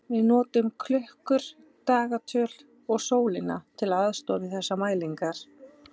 Við notum klukkur, dagatöl og sólina til aðstoðar við þessar mælingar.